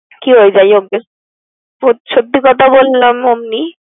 কি যাই হোক গে খুব সত্যি কথা বললাম এমনি।